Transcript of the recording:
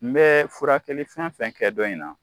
N bɛ furakɛli fɛn fɛn kɛ dɔ in na